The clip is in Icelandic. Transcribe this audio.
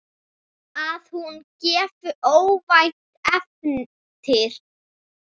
Að hún gefi óvænt eftir.